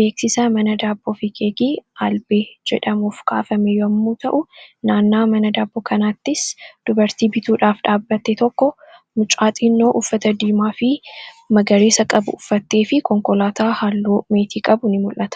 beeksisa mana daabboo fi keekii aalbee jedhameef kaafame yemmuu ta'u, naannoo mana daabboo kanaattis dubartii bituudhaaf dhaabbatte tokko, mucaa xiqqoo uffata diimaa fi magariisa qabu uffattee fi konkolaataan halluu meetii qabu ni mul'ata